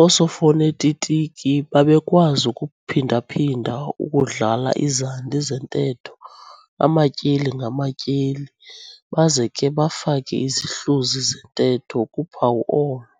Oosofonetitiki babekwazi ukuphonda-phinda ukudlala izandi zentetho amatyeli ngamatyeli baze ke bafake izihluzi zentetho kuphawu olo.